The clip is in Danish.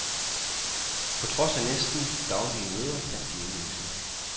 På trods af næsten daglige møder fandt de ingen løsning.